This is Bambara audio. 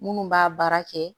Minnu b'a baara kɛ